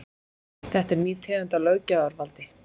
Þetta er ný tegund af löggjafarvaldi